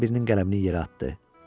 Başqa birinin qələmini yerə atdı.